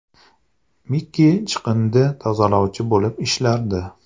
Miki chiqindi tozalovchi bo‘lib ishlardi.